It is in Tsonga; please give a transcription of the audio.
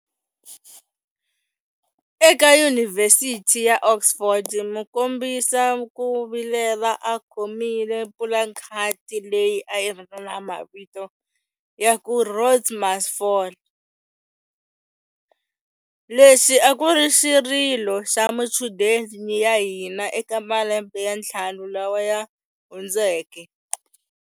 Eka Yunivhesiti ya Oxford mukombisa ku vilela a khomile pulakhadi leyi a yi ri na mavito ya ku 'Rhodes Must Fall', lexi a ku ri xirilo xa machudeni ya hina eka malembe ya ntlhanu lawa ya hundzeke.